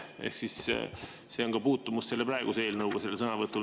Ehk see on selle sõnavõtu puhul puutumus praeguse eelnõuga.